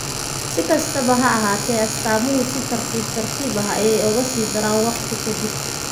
Si kastaba ha ahaatee, astaamuhu si tartiib tartiib ah ayey uga sii daraan waqti ka dib.